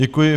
Děkuji.